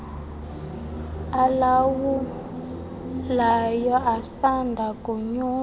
alawulayo asanda konyulwa